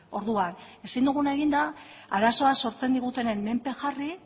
orduan ezin duguna egin da arazoa sortzen digutenen menpe jarri